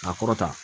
A kɔrɔ ta